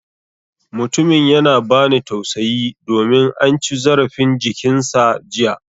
Mutumin yana bani tausayi domin an ci zarafin jikin sa jiya